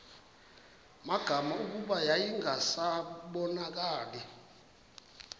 magama kuba yayingasabonakali